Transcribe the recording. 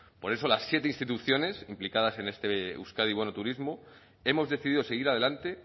por eso las siete instituciones implicadas en este euskadi bono turismo hemos decidido seguir adelante